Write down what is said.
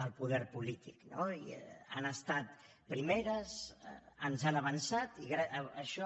del poder polític han estat primeres ens han avançat i això